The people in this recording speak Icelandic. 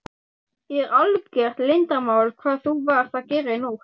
Er algert leyndarmál hvað þú varst að gera í nótt?